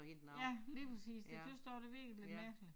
Ja lige præcis så tøt også virkelig det blev mærkeligt